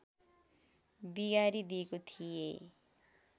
बिगारी दिएको थिएँ